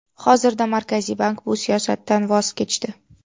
Hozirda Markaziy bank bu siyosatdan voz kechdi.